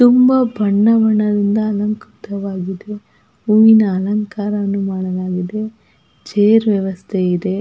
ತುಂಬಾ ಬಣ್ಣ ಬಣ್ಣದಿಂದ ಅಲಂಕೃತವಾಗಿದ್ದು ಹೂವಿನ ಅಲಂಕಾರವನ್ನು ಮಾಡಲಾಗಿದೆ ಚೇರ್ ವ್ಯವಸ್ಥೆ ಇದೆ --